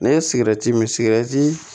Ne ye sigɛriti min sigɛrɛti